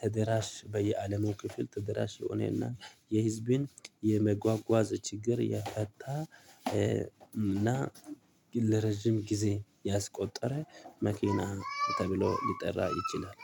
ተደራሽ በየዓለሙ ክፍል ተደራሽ የሆነና የህዝብን የመጓጓዝ ችግር ያጣ እና ለረጅም ጊዜ ያስቆጠረ መኪና ተብሎ ሊጠራ ይችላል